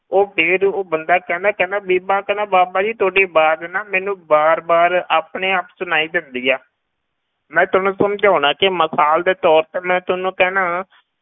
ਉਹ ਫਿਰ ਉਹ ਬੰਦਾ ਕਹਿੰਦਾ ਕਹਿੰਦਾ ਬੀਬਾ ਕਹਿੰਦਾ ਬਾਬਾ ਤੁਹਾਡੀ ਆਵਾਜ਼ ਨਾ ਮੈਨੂੰ ਵਾਰ ਵਾਰ ਆਪਣੇ ਆਪ ਸੁਣਾਈ ਦਿੰਦੀ ਹੈ ਮੈਂ ਤੁਹਾਨੂੰ ਸਮਝਾਉਨਾ ਕਿ ਮਿਸਾਲ ਦੇ ਤੌਰ ਤੇ ਮੈਂ ਤੁਹਾਨੂੂੰ ਕਹਿਨਾ